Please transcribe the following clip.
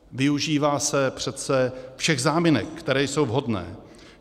Využívá se přece všech záminek, které jsou vhodné.